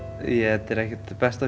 þetta er ekkert besta